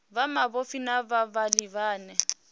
vha mabofu na vhavhali vhane